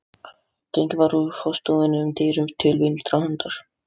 Gengið var úr forstofunni um dyr til vinstri handar.